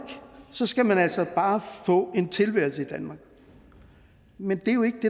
skal man altså bare få en tilværelse i danmark men det er jo ikke